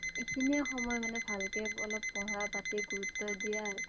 এইখিনিয়ে সময় মানে ভালকে পঢ়া পাতিত গুৰুুত্ব দিয়াৰ